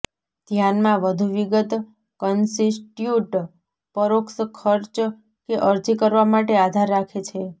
ધ્યાનમાં વધુ વિગત કન્સ્ટિટ્યુટ પરોક્ષ ખર્ચ કે અરજી કરવા માટે આધાર રાખે છે